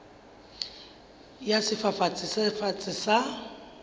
ya sefafatsi se fatshe sa